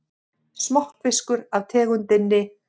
Smokkfiskur af tegundinni